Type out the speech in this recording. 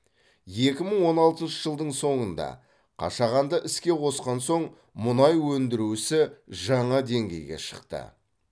екі мың он алтыншы жылдың соңында қашағанды іске қосқан соң мұнай өндіру ісі жаңа деңгейге шықты